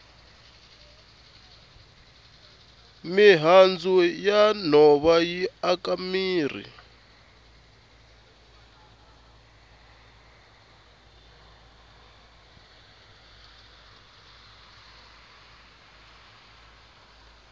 mihandzu ya nhova yi aka mirhi